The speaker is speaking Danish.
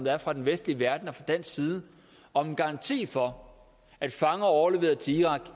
er fra den vestlige verdens og fra dansk side om en garanti for at fanger overleveret til irak